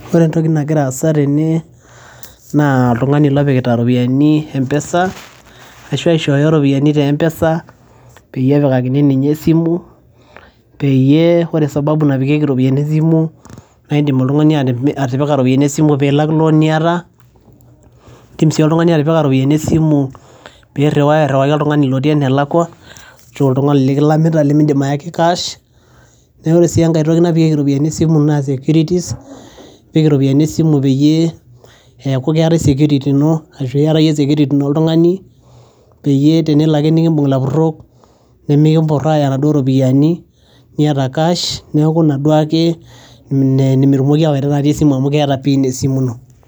Ore entoki nagira aasa tene naa oltung'ani lopikita ropiani empesa ashu aishooyo ropiani te mpesa peyie epikakini ninye esimu, peyie kore sababu napikieki ropiani esimu naa indim oltung'ani atipika ropiani esimu piilak loan niyata, indim sii oltung'ani atipika ropiani esimu piiriwaa airiwaki oltung'ni otii enelakua ashu oltung'ani lekilamita lemiindim ayaki cash. Neeku ore sii enkae toki napikieki ropiani esimu naa securities, ipik iropiani esimu peyie eeku keetai security ino ashu iyata iye security ino oltung'ani peyie tenelo ake nekiimbung' ilapurok nemekimpor aaya naduo ropiani iyata cash, neeku ina duake me metumoki ayaita natii esimu amu keeta pin esimu ino.